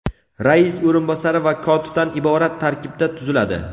rais o‘rinbosari va kotibdan iborat tarkibda tuziladi.